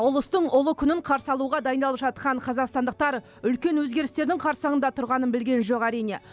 ұлыстың ұлы күнін қарсы алуға дайындалып жатқан қазақстандықтар үлкен өзгерістердің қарсаңында тұрғанын білген жоқ әрине